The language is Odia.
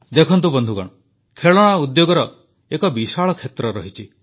ଦେଖନ୍ତୁ ବନ୍ଧୁଗଣ ଖେଳଣା ଉଦ୍ୟୋଗର ଏକ ବିଶାଳ କ୍ଷେତ୍ର ରହିଛି